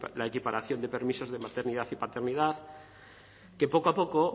la equiparación de permisos de maternidad y paternidad que poco a poco